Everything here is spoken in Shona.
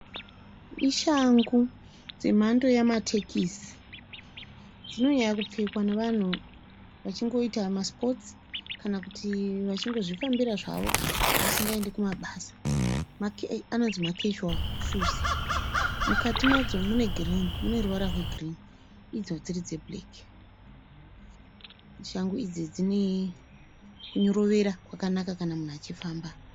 Ishangu dzemhando yamatekisi. Dzino nyanyo pfekwa nevanhu vachingoita masipotsi kana kuti vachingozvifambira zvavo vasingaindi kubasa. Anonzi makezhuwawu shuzi. Mukati madzo mune girini mune ruvara rwegirini idzo dziri dzebhureki. Shangu idzi dzine kunyorovera kwakanaka kana mumhu achifamba.